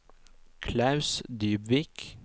Klaus Dybvik